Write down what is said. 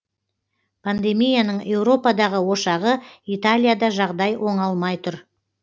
пандемияның еуропадағы ошағы италияда жағдай оңалмай тұр